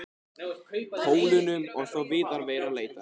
Pólunum og þó víðar væri leitað.